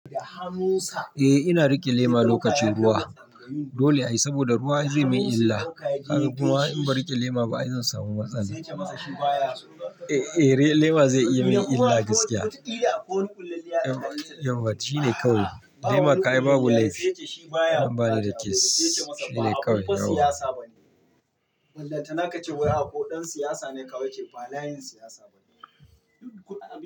Eh ina rike lema lokacin ruwa. Dole ayi saboda ruwa zai yi min illa. Har kuma in ba rike lema ba ai zan samu matsala. Eh, eh lema zai iya yi mini illa gaskiya. Yauwa shi ne kawai. Lema kayi babu laifi. In ba dani da case shi ne kawai kawai.